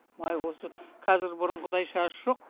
уай осы қазір бұрынғыдай жаз жоқ